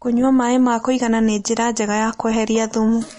Kũnyua maĩ ma kũĩgana nĩ njĩra njega ya kweherĩa thũmũ